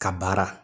Ka baara